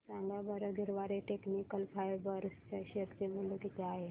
सांगा बरं Garware technical fibres च्या शेअर चे मूल्य किती आहे